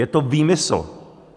Je to výmysl.